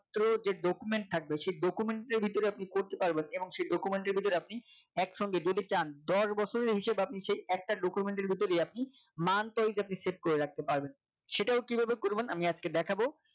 throw যে document থাকবে সেই document এর ভিতরে আপনি করতে পারবেন এবং সেই document এর ভিতরে আপনি একসঙ্গে যদি চান দশ বছরের হিসাব আপনি সেই একটা document এর ভিতরেই আপনি monthwise আপনি set করে রাখতে পারবেন সেটাও কিভাবে করবেন আমি আজকে দেখাবো।